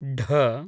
ढ